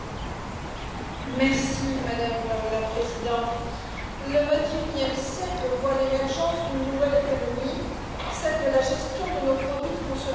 Madame la Présidente, le XXIe siècle voit l'émergence d'une nouvelle économie, celle de la gestion de nos produits de consommation après usage.